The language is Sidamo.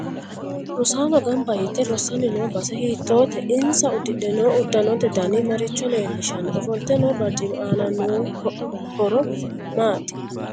Rosaano ganba yite rosanni noo base hiitoote insa udidhe noo uddanote dani maricho leelishanno ofolte noo barcimi aano horo maati